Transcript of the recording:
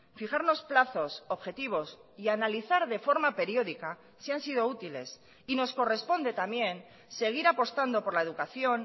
fijarnos plazos objetivos y analizar de forma periódica si han sido útiles y nos corresponde también seguir apostando por la educación